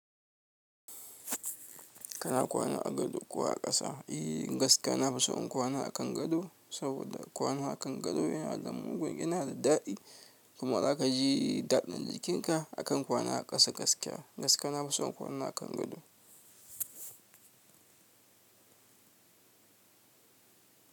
Kana kwana a gado ko a kasa e gaskiya na son kwana a kan gado, saboda kwana a kan gado yana da mugun, yana da daɗi. Kuma za ka ji daɗin jikinka akan kwana a ƙasa gaskiya. Gaskiya na fi son kwana a kan gado.